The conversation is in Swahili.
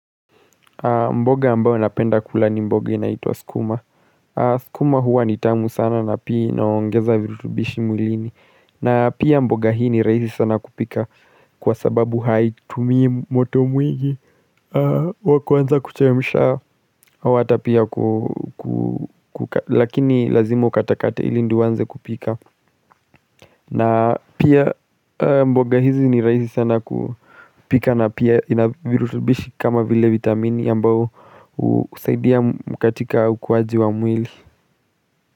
Mboga ambao napenda kula ni mboga inaituwa skuma. Skuma huwa nitamu sana na pia inaongeza virutubishi mwilini. Na pia mboga hii ni raisi sana kupika kwa sababu haitumii moto mwingi wakuwanza kuchemisha wata pia kuka lakini lazimo ukatakate ili ndiyowanze kupika. Na pia mboga hizi ni raisi sana kupika na pia inavirutubishi kama vile vitamini ambao usaidia mkatika ukwaji wa mwili.